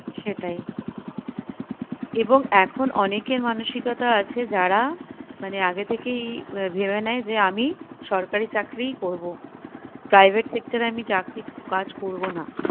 সেটাই এবং এখন অনেকের মানসিকতা আছে যারা মানে আগে থেকেই আহ ভেবে নেই যে আমি সরকারি চাকরিই করবো private sector এ আমি চাকরি কাজ করবো না।